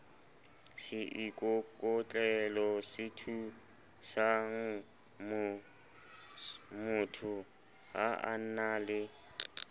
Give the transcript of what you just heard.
seikokotlelosethusangmotho ha a na le